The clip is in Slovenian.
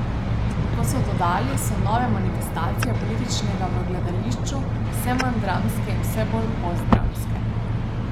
Kot so dodali, so nove manifestacije političnega v gledališču vse manj dramske in vse bolj postdramske.